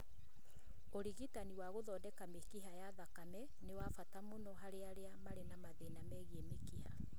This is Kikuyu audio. Ũrigitani wa gũthondeka mĩkiha ya thakame nĩ wa bata mũno harĩ arĩa marĩ na mathĩna megiĩ mĩkiha.